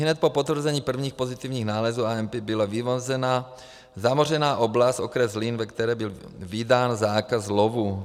Ihned po potvrzení prvních pozitivních nálezů AMP byla vymezena zamořená oblast okres Zlín, ve které byl vydán zákaz lovu.